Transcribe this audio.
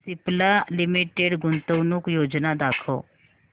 Cipla limited गुंतवणूक योजना दाखव